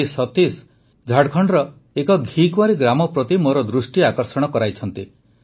ଶ୍ରୀ ସତୀଶ ଝାଡ଼ଖଣ୍ଡର ଏକ ଘିକୁଆଁରୀ ଗ୍ରାମ ପ୍ରତି ମୋର ଦୃଷ୍ଟି ଆକର୍ଷଣ କରାଇଛନ୍ତି